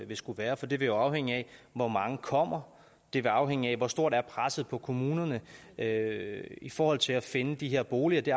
vil skulle være for det vil jo afhænge af hvor mange der kommer det vil afhænge af hvor stort presset på kommunerne er i forhold til at finde de her boliger det